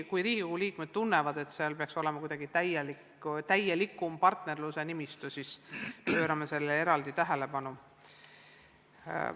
Kui Riigikogu liikmed tunnevad, et seal peaks olema täielik partnerluse nimistu, siis pöörame sellele eraldi tähelepanu.